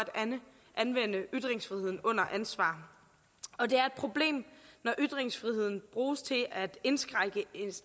anvende ytringsfriheden under ansvar og det er et problem når ytringsfriheden bruges til at indskrænke en